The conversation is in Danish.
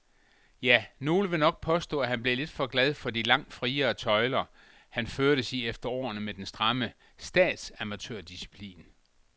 Ja, nogle vil nok påstå, at han blev lidt for glad for de langt friere tøjler, han førtes i efter årene med den stramme statsamatørdisciplin.